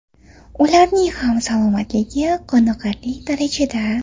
Ularning ham salomatligi qoniqarli darajada.